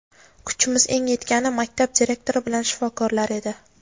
Kuchimiz eng yetgani maktab direktori bilan shifokorlar edi.